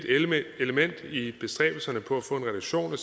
element i bestræbelserne på at få en reduktion af